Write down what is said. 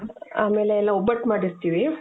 ಆಮೇಲೆ ನಾವ್ ಒಬ್ಬಟ್ ಮಾಡಿರ್ತೀವಿ.